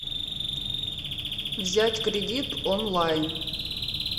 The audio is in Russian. взять кредит онлайн